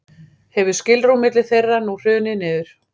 hefur skilrúm milli þeirra nú hrunið niður